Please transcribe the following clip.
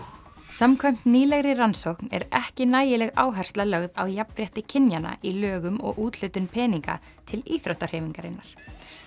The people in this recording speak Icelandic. samkvæmt nýlegri rannsókn er ekki nægileg áhersla lögð á jafnrétti kynjanna í lögum og úthlutun peninga til íþróttahreyfingarinnar